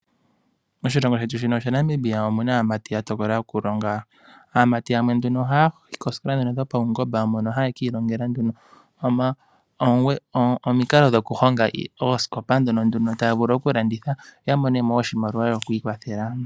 Moshilongo shetu shaNamibia omu na aamati ya tokola okulonga. Aamati yamwe nduno ohaya yi koosikola dhopaungomba, mono haya ka ilongela nduno omukalo gokuhonga oosikopa ndhono nduno taya vulu okulanditha, yo ya mone wo oshimaliwa sho ku ikwathela.